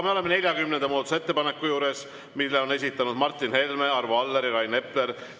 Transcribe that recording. Me oleme 40. muudatusettepaneku juures, mille on esitanud Martin Helme, Arvo Aller ja Rain Epler.